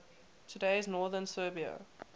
today's northern serbia